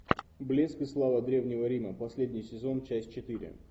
блеск и слава древнего рима последний сезон часть четыре